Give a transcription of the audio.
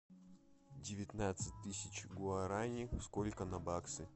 девятнадцать тысяч гуарани сколько на баксы